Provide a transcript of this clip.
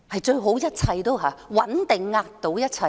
鄧小平說："穩定壓倒一切"。